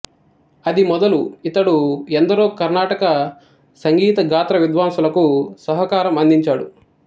అది మొదలు ఇతడు ఎందరో కర్ణాటక సంగీత గాత్ర విద్వాంసులకు సహకారం అందించాడు